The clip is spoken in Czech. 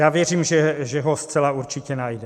Já věřím, že ho zcela určitě najde.